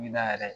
yɛrɛ